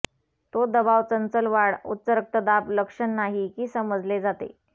तो दबाव चंचल वाढ उच्च रक्तदाब लक्षण नाही की समजले जाते